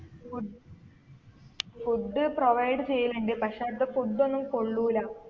ഫു food provide ചെയ്യലിണ്ട് പക്ഷെ അട്ത്ത food ഒന്നും കൊള്ളൂല